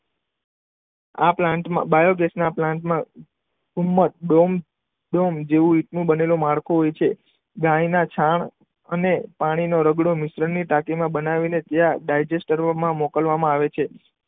આ પ્લાન્ટમાં બાયોગેસના પ્લાન્ટમાં ડોમ જેવું જેવું માળખું હોય છે. ગાયના છાણ અને પાણીનો રગડો મિશ્રણની ટાંકીમાં બનાવીને ત્યાં ડાયજેસ્ટ કરવા મોકલવામાં આવે છે.